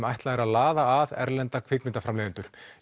ætlað að laða að erlenda kvikmyndaframleiðendur